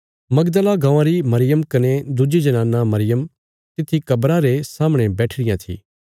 मगदला गाँवां री मरियम कने दुज्जी जनाना मरियम तित्थी कब्रा रे सामणे बैठी रियां थी